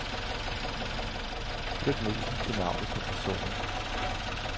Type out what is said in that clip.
Flyt musen til navnet på personen.